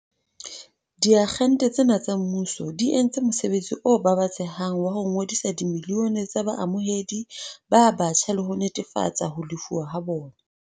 Diagente tsena tsa mmuso di entse mosebetsi o babatsehang wa ho ngodisa dimilione tsa baamohedi ba batjha le ho netefatsa ho lefuwa ha bona.